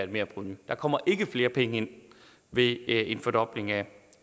merprovenu der kommer ikke flere penge ind ved en fordobling af